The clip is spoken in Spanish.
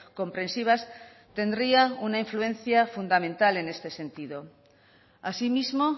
comprensivas tendría una influencia fundamental en este sentido asimismo